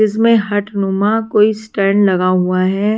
इसमें कोई स्टैंड लगा हुआ है।